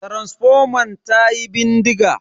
Taransifoman tayi bindiga.